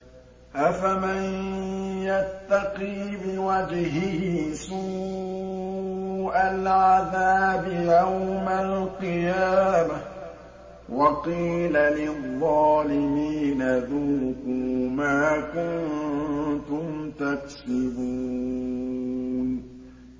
أَفَمَن يَتَّقِي بِوَجْهِهِ سُوءَ الْعَذَابِ يَوْمَ الْقِيَامَةِ ۚ وَقِيلَ لِلظَّالِمِينَ ذُوقُوا مَا كُنتُمْ تَكْسِبُونَ